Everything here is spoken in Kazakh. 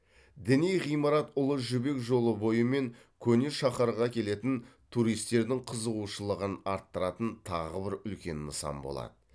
діни ғимарат ұлы жібек жолы бойы мен көне шаһарға келетін туристердің қызығушылығын арттыратын тағы бір үлкен нысан болады